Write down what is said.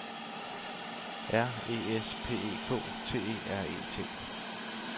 R E S P E K T E R E T